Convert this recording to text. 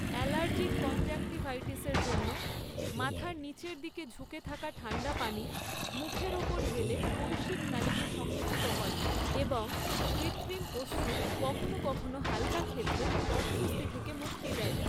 Allergic কনজেক্টিভাইটিসের জন্য, মাথার নিচের দিকে ঝুঁকে থাকা ঠাণ্ডা পানি মুখের ওপর ঢেলে কৈশিক নালিকে সংকুচিত করে এবং কৃত্রিম অশ্রু কখনও কখনও হালকা ক্ষেত্রে অস্বস্তি থেকে মুক্তি দেয়।